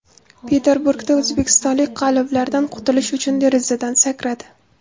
Peterburgda o‘zbekistonlik qalloblardan qutulish uchun derazadan sakradi.